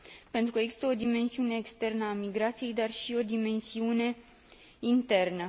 pentru că există o dimensiune externă a migrației, dar și o dimensiune internă.